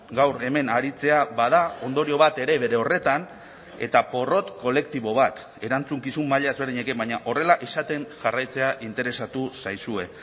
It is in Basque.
gaur hemen aritzea bada ondorio bat ere bere horretan eta porrot kolektibo bat erantzukizun maila ezberdinekin baina horrela izaten jarraitzea interesatu zaizue